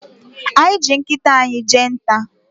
Anyị ji nkịta anyị jee nta.